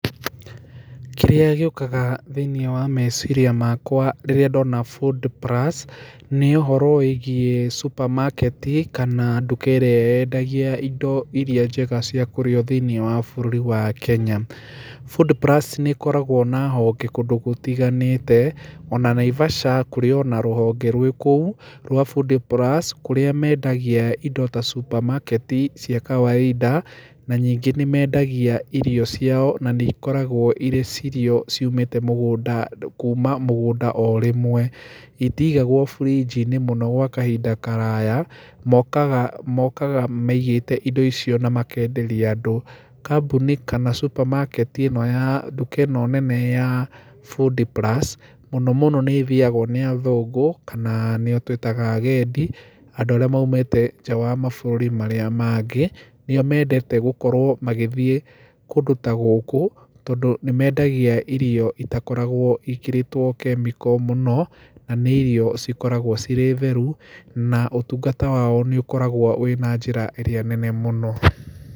Kĩrĩa gĩũkaga thĩinĩ wa meciria makwa rĩrĩa ndona food plus nĩ ũhorũ wĩgiĩ super market kana ndũka ĩrĩa yendagia indo irĩa njĩga cia kũrĩo thĩinĩ wa bũrũri wa Kenya. Food plus nĩĩkoragwo na honge kũndũ gũtiganĩte ona Naivasha kũrĩ ona rũhonge rwĩ kũũ rwa food plus kũrĩa mendagia indo ta super market cia kawaida. Na ningĩ nĩmendagia irio ciao na nĩikoragwo irĩ irio ciũmete mũgũnda kũndũ kũma mũgũnda orĩmwe. Itigagwo fridge mũno gwa kahinda karaya, mokaga mokaga maigĩte indo icio na makenderia andũ. Kambũni, kana supermarket ĩno ya, ndũka ĩno nene ya food plus mũnomũno nĩĩthiagwo nĩ athũngũ kana nĩo twĩtaga agendi, andũ arĩa maũmete nja wa mabũrũri marĩa mangĩ. Nĩo mendete gũkorwo magĩthiĩ kũndũ ta gũkũ tondũ nĩmendagia irio itakoragwo ciĩkĩrĩtwo chemical mũno, na nĩ irio cikoragwo cirĩ therũ na ũtũngata wao nĩũkoragwo wĩna njĩra ĩrĩa nene mũno.